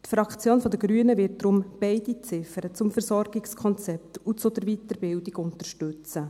Die Fraktion der Grünen wird deshalb die beide Ziffern zum Versorgungskonzept und zur Weiterbildung unterstützen.